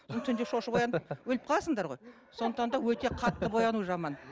түнде шошып оянып өліп қаласыңдар ғой сондықтан да өте қатты бояну жаман